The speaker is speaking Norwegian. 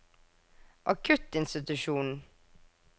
akuttinstitusjonen